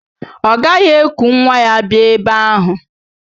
Ọ gaghị eku nwa ya bịa ebe ahụ